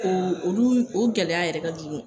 O olu, o gɛlɛya yɛrɛ ka jugu.